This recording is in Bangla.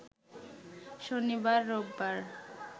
শনিবার, রোববার